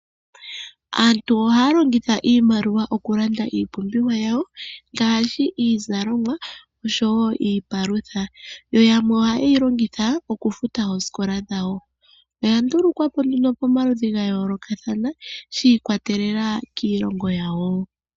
Aantu ohaya longitha iimaliwa okulanda iipumbiwa yawo, ngaashi iikulya, oshowo iipalutha, yo yamwe ohayeyi longitha okufuta oosikola dhawo. Oya ndulukwapo nduno pamaludhi gayoolokathana, shi ikwatelela kiilongo yawo.